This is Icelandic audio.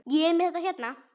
Ég er með þetta hérna.